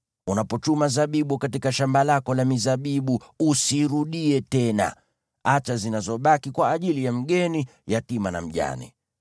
Unapochuma zabibu katika shamba lako la mizabibu usirudie tena. Acha zinazobaki kwa ajili ya mgeni, yatima na mjane.